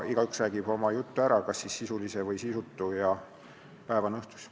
Igaüks räägib oma jutu ära, kas siis sisulise või sisutu, ja päev on õhtus.